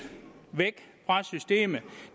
væk fra systemet